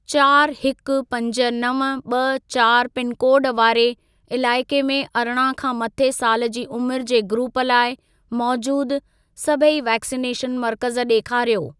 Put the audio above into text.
चारि, हिकु, पंज, नव, ॿ, चारि पिनकोड वारे इलाइके में अरिड़हं खां मथे साल जी उमिरि जे ग्रूप लाइ मौजूद सभई वैक्सिनेशन मर्कज़ ॾेखारियो।